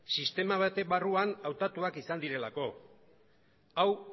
sistema baten barruan hautatuak izan direlako hau